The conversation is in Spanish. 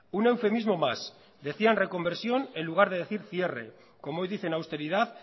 un eufemismo más decían reconversión en lugar de decir cierre como hoy dicen austeridad